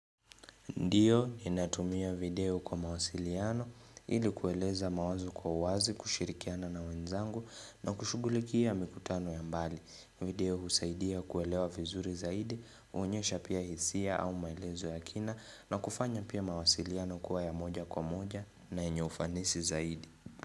Ndiyo, inatumia video kwa mawasiliano, ili kueleza mawazo kwa wazi kushirikiana na wenzangu na kushugulikia mikutano ya mbali. Video husaidia kuelewa vizuri zaidi, huonyesha pia hisia au maelezo ya kina na kufanya pia mawasiliano kuwa ya moja kwa moja na yenye ufanisi zaidi.